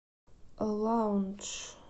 лаундж